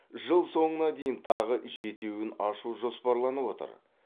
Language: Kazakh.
жыл соңын дейін тағы жетеуін ашу жоспарланып отыр